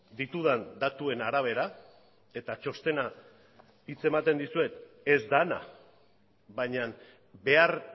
ditudan datuen arabera eta txostena hitz ematen dizuet ez dena baina behar